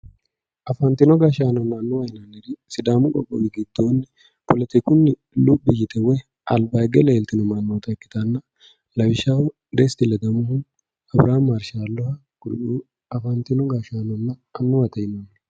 afantino gashshaanonna annuwa yinanniri sidaamu qoqqowi giddoonni politikunni luphi yite woy alba higge leeltino mannoota ikkitanna lawishshaho, desiti ledamohu ,abirihaami marshaallohu kuriu afantino gashshaanonna annuwa yinanni